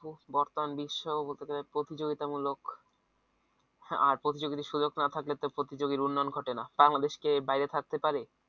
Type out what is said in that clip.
বর্তমান বিশ্ব প্রতিযোগিতামূলক আর প্রতিযোগিতার সুযোগ না থাকলে তো প্রতিযোগীর উন্নয়ন ঘটে না বাংলাদেশ কি এর বাইরে থাকতে পারে?